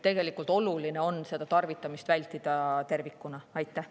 Tegelikult on oluline vältida tervikuna igasugust sellist käitumist.